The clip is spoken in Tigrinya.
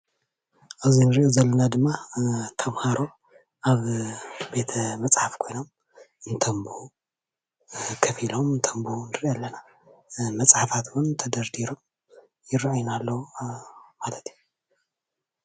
ኣብዚ እንሪኦ ዘለና ድማ ተምሃሮ ኣብ ቤተ መፅሓፍ ኮይኖም እንተንብቡ ከፍ ኢሎም እንተንብቡ ንሪኢ ኣለና፡፡ መፅሓፋት እውን ተደርዲሮም ይረአዩና ኣለው ማለት እዩ፡፡